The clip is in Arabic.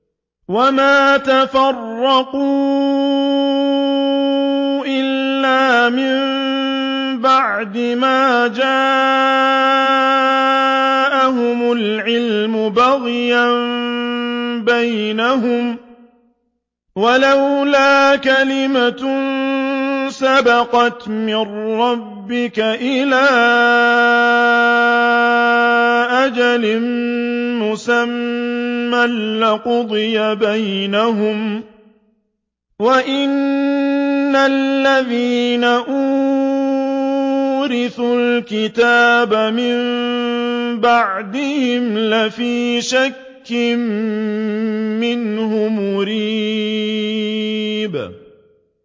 وَمَا تَفَرَّقُوا إِلَّا مِن بَعْدِ مَا جَاءَهُمُ الْعِلْمُ بَغْيًا بَيْنَهُمْ ۚ وَلَوْلَا كَلِمَةٌ سَبَقَتْ مِن رَّبِّكَ إِلَىٰ أَجَلٍ مُّسَمًّى لَّقُضِيَ بَيْنَهُمْ ۚ وَإِنَّ الَّذِينَ أُورِثُوا الْكِتَابَ مِن بَعْدِهِمْ لَفِي شَكٍّ مِّنْهُ مُرِيبٍ